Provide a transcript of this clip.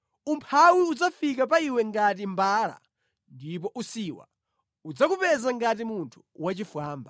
umphawi udzafika pa iwe ngati mbala ndipo usiwa udzakupeza ngati munthu wachifwamba.